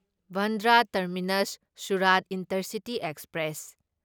Bandra terminus Surat intercity express